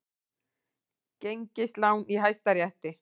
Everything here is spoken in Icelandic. Gengislán í Hæstarétti